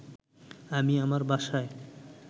আমি আমার বাসায়